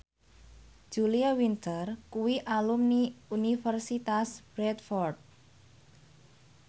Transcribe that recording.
Julia Winter kuwi alumni Universitas Bradford